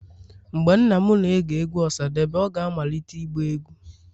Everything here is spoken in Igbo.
Mgbe nna m na-ege egwu osadebe, ọ ga-amalite ịgba egwu.